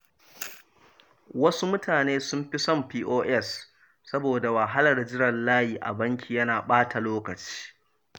Wasu mutane sun fi son POS saboda wahalar jiran layi a banki yana ɓata lokaci.